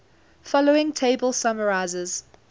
following table summarizes